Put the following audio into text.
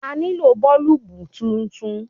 A nílò bọ́ọ́lùbù titun.